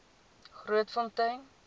grootfontein